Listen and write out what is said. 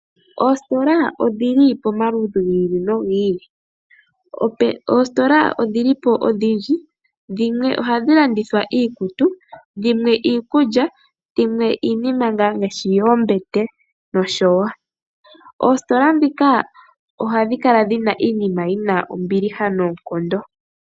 Oositola odhili pomaludhi gi ili nogi ili . Oositola odhi li po odhindji , dhimwe hadhi landithwa iikutu dhimwe iikulya dhimwe iinima ngaa ngaashi yoombete nosho woo . Oositola dhika ohadhi kala dhina iinima yina ombiliha noonkondo .